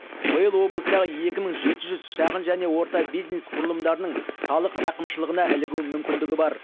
биыл облыстағы екі мың жеті жүз шағын және орта бизнес құрылымдарының салық рақымшылығына ілігу мүмкіндігі бар